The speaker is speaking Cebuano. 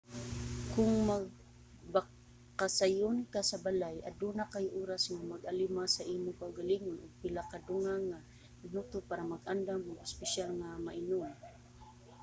kung magbakasayon ka sa balay aduna kay oras nga mag-alima sa imong kaugalingon ug pila ka dugang nga minuto para mag-andam og espesyal nga mainom